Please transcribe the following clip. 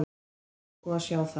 Ég ætla sko að sjá það.